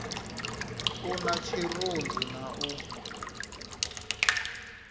a na tshirunzi na u